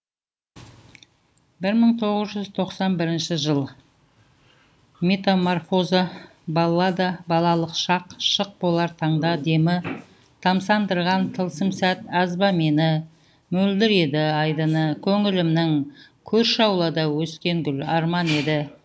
бір мың тоғыз жүз тоқсан бірінші жыл метамарфоза баллада балалық шақ шық болар таңда демі тамсандырған тылсым сәт аз ба мені мөлдір еді айдыны көңілімнің көрші аулада өскен гүл арман еді